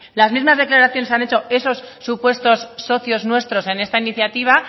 las mismas declaraciones han hecho esos supuestos socios nuestros en esta iniciativa